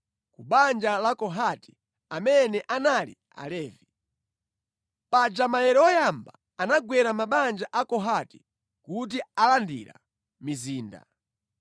ku banja la Kohati amene anali Alevi. Paja maere oyamba anagwera mabanja a Kohati kuti alandira mizinda.